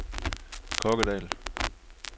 Kokkedal